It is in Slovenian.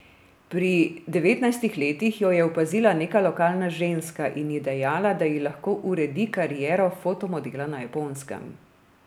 Pri devetnajstih letih jo je opazila neka lokalna ženska in ji dejala, da ji lahko uredi kariero fotomodela na Japonskem.